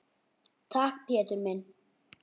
Takk, Pétur minn.